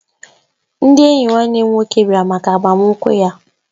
Ndị enyi nwanne m nwoke bịara maka agbamakwụkwọ ya